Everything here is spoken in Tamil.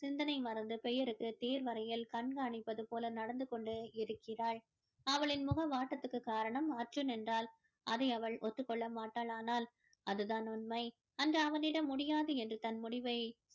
சிந்தனை மறந்து பெயருக்கு தேர்வறையில் கண்காணிப்பது போல நடந்து கொண்டு இருக்கிறாள் அவளின் முகம் வாட்டத்திற்கு காரணம் அர்ஜூன் என்றால் அதை அவள் ஒத்துக் கொள்ள மாட்டாள் ஆனால் அது தான் உண்மை அன்று அவனிடம் முடியாது என்று தன் முடிவை